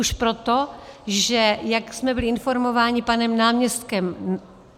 Už proto, že, jak jsme byli informováni panem náměstkem